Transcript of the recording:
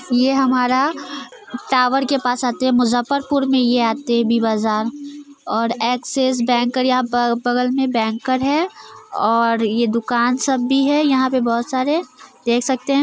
ये हमारा टावर के पास आते मुजफ्परपुर में ये आते है वि बाजार और एक्सिस बैंक या बगल में बैंकर है और ये दूकान सब भी हैयहाँ पे बहोत सारे देख सकते है।